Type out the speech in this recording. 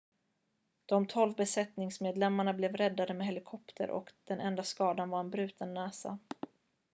de tolv besättningsmedlemmarna blev räddade med helikopter och den enda skadan var en bruten näsa